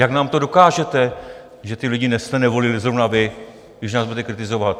Jak nám to dokážete, že ty lidi jste nevolili zrovna vy, když nás budete kritizovat?